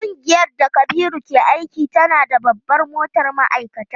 Kungiyar da Kabiru ke aiki tana da babbar motar ma'aikata.